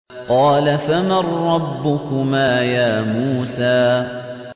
قَالَ فَمَن رَّبُّكُمَا يَا مُوسَىٰ